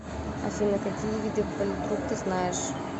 афина какие виды политрук ты знаешь